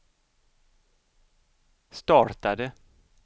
startade